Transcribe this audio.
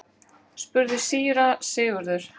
spurði síra Sigurður.